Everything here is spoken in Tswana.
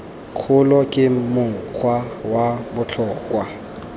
kgolo ke mokgwa wa botlhokwa